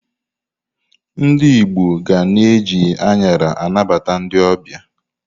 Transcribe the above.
Ndi Igbo ga na-eji añara anabata ndi ọbịa.